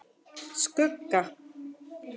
Skugga